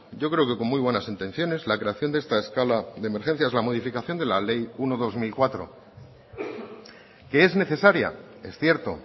yo creo que con muy buenas intenciones la creación de esta escala de emergencias la modificación de la ley uno barra dos mil cuatro que es necesaria es cierto